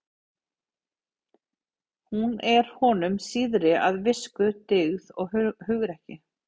Hún er honum síðri að visku, dygð og hugrekki.